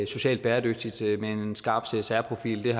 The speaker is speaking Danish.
socialt bæredygtigt med en skarp csr profil